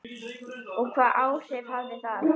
Og hvaða áhrif hafði það?